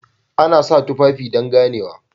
Ana sa tufafi don ganewa